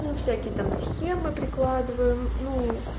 всякие там схемы прикладываем нуу